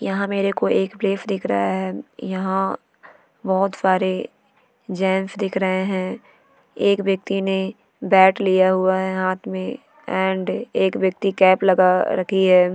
यहाँ मेरे को एक प्लेस दिख रहा है यहाँ बहोत सारे जेंट्स दिख रहे है एक व्यक्ति ने बैट लिया हुआ है हाथ में एंड एक व्यक्ति कैप लगा रखी है।